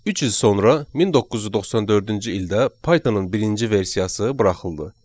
Üç il sonra 1994-cü ildə Pythonın birinci versiyası buraxıldı.